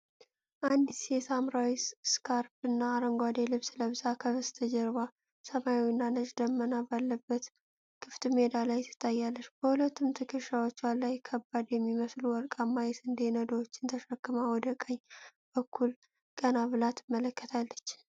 አንዲት ሴት ሐምራዊ ስካርፕና አረንጓዴ ልብስ ለብሳ፣ ከበስተጀርባ ሰማያዊና ነጭ ደመና ባለበት ክፍት ሜዳ ላይ ትታያለች። በሁለቱም ትከሻዎቿ ላይ ከባድ የሚመስሉ ወርቃማ የስንዴ ነዶዎችን ተሸክማ ወደ ቀኝ በኩል ቀና ብላ ትመለከታለች።